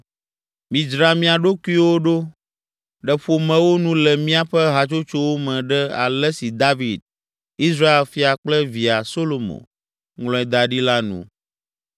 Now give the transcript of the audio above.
Midzra mia ɖokuiwo ɖo ɖe ƒomewo nu le míaƒe hatsotsowo me ɖe ale si David, Israel fia kple via, Solomo, ŋlɔe da ɖi la nu.